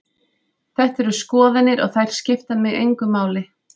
Þetta eru skoðanir og þær skipta mig engu máli.